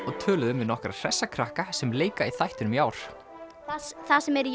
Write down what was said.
og töluðum við nokkra hressa krakka sem leika í þættinum í ár það sem er í